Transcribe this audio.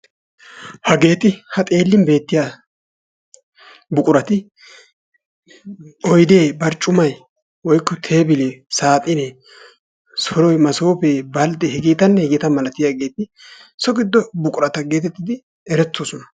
Hageeti ha xeellin beettiyaa buqurati oydee barccumay tebilee woykko saaxinee soroy masoofee baldee hegetanne hegeeta malatiyaageti so giddo buqurata geetettidi erettoosona.